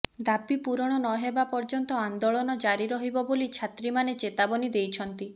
ଦାବି ପୂରଣ ନହେବା ପର୍ଯ୍ୟନ୍ତ ଆନ୍ଦୋଳନ ଜାରି ରହିବ ବୋଲି ଛାତ୍ରୀମାନେ ଚେତାବନୀ ଦେଇଛନ୍ତି